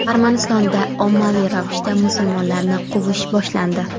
Armanistonda ommaviy ravishda musulmonlarni quvish boshlandi .